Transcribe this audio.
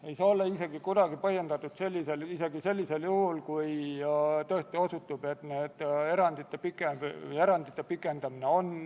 Riigikaitsekomisjon tegi eelnõu punktis 1 keeletoimetaja soovitusel mõned keelelised täpsustused, asendades lühendi "NATO" sõnadega "Põhja-Atlandi Lepingu Organisatsioon".